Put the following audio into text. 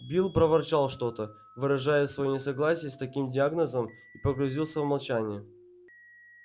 билл проворчал что то выражая своё несогласие с таким диагнозом и погрузился в молчание